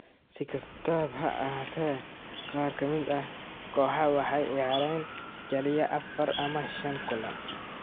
Si kastaba ha ahaatee, qaar ka mid ah kooxaha waxay ciyaareen kaliya afar ama shan kulan.